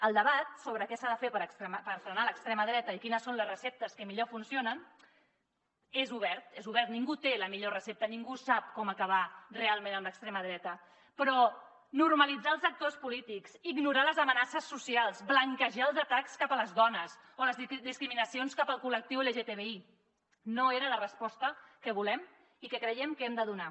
el debat sobre què s’ha de fer per frenar l’extrema dreta i quines són les receptes que millor funcionen és obert és obert ningú té la millor recepta ningú sap com acabar realment amb l’extrema dreta però normalitzar els actors polítics ignorar les amenaces socials blanquejar els atacs cap a les dones o les discriminacions cap al col·lectiu lgtbi no era la resposta que volem i que creiem que hem de donar